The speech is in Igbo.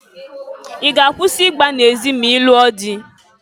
I ga-akwusi igba na-ezị ma ị lụọ dị?